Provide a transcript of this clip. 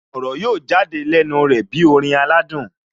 Ọ̀rọ̀ yóò jáde lẹ́nu rẹ̀ bí orin aládùn